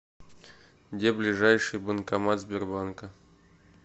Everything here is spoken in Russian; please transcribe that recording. где ближайший банкомат сбербанка